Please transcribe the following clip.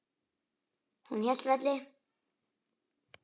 Hún hélt velli.